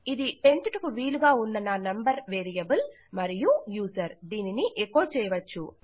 ఇది పెంచుటకు వీలుగా ఉన్న నా నంబర్ వేరియబుల్ మరియు యూజర్ దీనిని ఎకో చేయవచ్చు